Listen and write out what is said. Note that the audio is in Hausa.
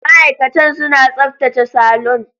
Ma'aikatan suna tsaftace salon.